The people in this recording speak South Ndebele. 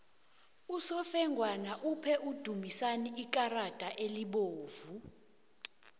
usofengwana uphe udumisani ikarada elibovu